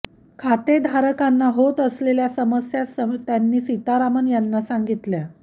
खातेधारकांना होत असलेल्या समस्या त्यांनी सीतारामन यांना सांगितल्या